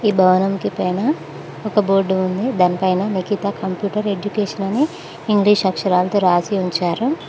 ఈ భవనం కి పైన ఒక బోర్డు ఉంది దానిపైన నికిత కంప్యూటర్ ఎడ్యుకేషన్ అని ఇంగ్లీష్ అక్షరాలతో రాసి ఉంచారు.